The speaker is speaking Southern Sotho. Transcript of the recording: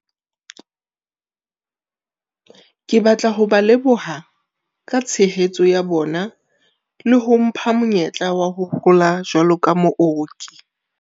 Ke batla ho ba leboha ka tshehetso ya bona le ho mpha monyetla wa ho hola jwalo ka mooki.